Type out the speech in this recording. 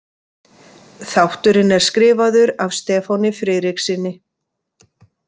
Þátturinn er skrifaður af Stefáni Friðrikssyni.